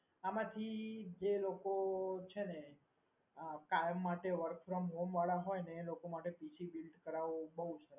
પછી જે લોકો છે ને આ કામ માટે work from home વાળા હોય ને એ લોકો માટે PC build કરાવું બહુ સસ્તું પડે